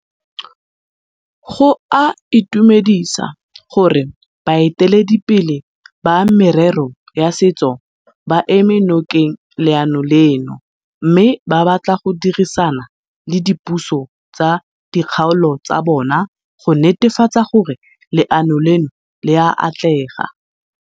Go a itumedisa gore baeteledipele ba merero ya setso ba eme nokeng leano leno mme ba batla go dirisana le dipuso tsa dikgaolo tsa bona go netefatsa gore leano leno le a atlega.